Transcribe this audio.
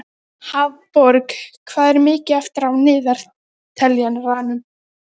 Lúísa, hvernig er dagskráin?